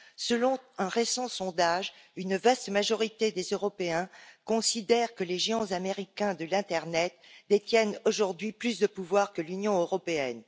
Selon un récent sondage, une vaste majorité des Européens considèrent que les géants américains de l'internet détiennent aujourd'hui plus de pouvoir que l'Union européenne.